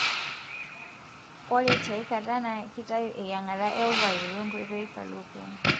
ore tiaikata na kitayu eyiangata e ovari we ngoitoi fallopian.